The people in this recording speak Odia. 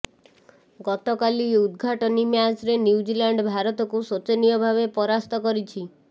ଗତକାଲି ଉଦ୍ଘାଟନୀ ମ୍ୟାଚରେ ନ୍ୟୁଜିଲାଣ୍ଡ ଭାରତକୁ ଶୋଚନୀୟ ଭାବେ ପରାସ୍ତ କରିଛି